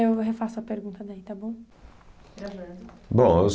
Eu refaço a pergunta daí, está bom? Gravando. Bom